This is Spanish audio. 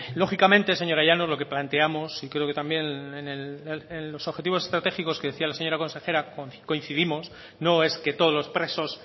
lógicamente señora llanos lo que planteamos y creo que también en los objetivos estratégicos que decía la señora consejera coincidimos no es que todos los presos